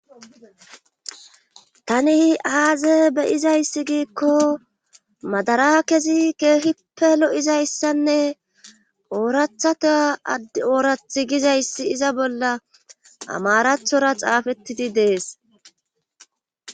tani aaze beyizayssi giikko madara kezi keehippe lo'izayssanne oorathatea oorath gizayssi iza bolla amarathora xaafettidi dees.